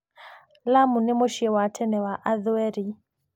Lamu nĩ mũciĩ wa tene wa Athweri.